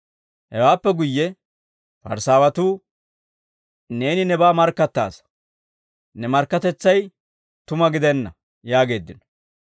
Hewaappe guyye Parisaawatuu, «Neeni nebaa markkattaasa; ne markkatetsay tuma gidenna» yaageeddino.